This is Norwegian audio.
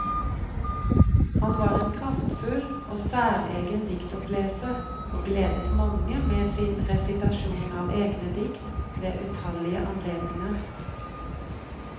Han var en kraftfull og særegen diktoppleser, og gledet mange med sin resitasjon av egne dikt ved utallige anledninger.